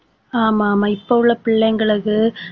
ஆமா ஆமா இப்ப உள்ள பிள்ளைங்களுக்கு